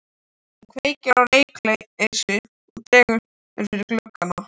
Hún kveikir á reykelsi og dregur fyrir gluggana.